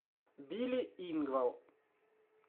билли ингвал